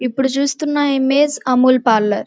ఇప్పుడు చూస్తున్న image Amul parlour .